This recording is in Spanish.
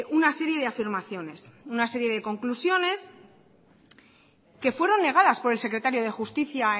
una serie de afirmaciones una serie de conclusiones que fueron negadas por el secretario de justicia